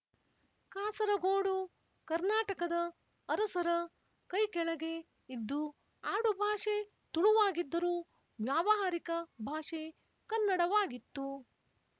ಕಾಸರಗೋಡು ಕರ್ನಾಟಕದ ಅರಸರ ಕೈಕೆಳಗೆ ಇದ್ದು ಆಡುಭಾಷೆ ತುಳುವಾಗಿದ್ದರೂ ವ್ಯಾವಹಾರಿಕ ಭಾಷೆ ಕನ್ನಡವಾಗಿತ್ತು